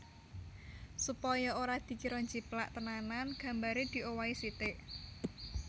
Supaya ora dikira njiplak tenanan gambare diowahi sitik